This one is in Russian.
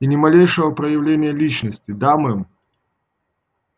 и ни малейшего проявления личности да мэм